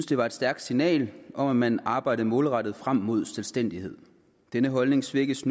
det var et stærkt signal om at man arbejdede målrettet frem mod selvstændighed denne holdning svækkes